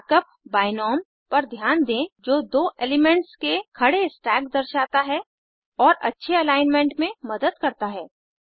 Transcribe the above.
mark up बिनोम पर ध्यान दें जो दो एलिमेंट्स के खड़े स्टैक दर्शाता है और अच्छे अलाइनमेंट में मदद करता है